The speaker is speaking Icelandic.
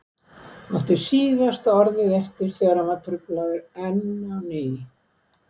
Átti síðasta orðið eftir þegar hann var truflaður enn á ný.